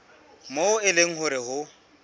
moo e leng hore ho